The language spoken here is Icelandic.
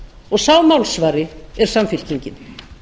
og sá málsvari er samfylkingin